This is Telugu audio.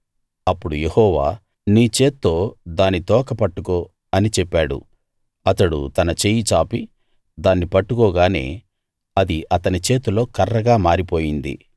అప్పుడు యెహోవా నీ చేత్తో దాని తోక పట్టుకో అని చెప్పాడు అతడు తన చెయ్యి చాపి దాన్ని పట్టుకోగానే అది అతని చేతిలో కర్రగా మారిపోయింది